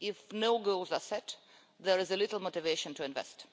If no goals are set, there is little motivation to invest.